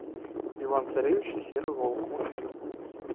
иван царевич и серый волк мультфильм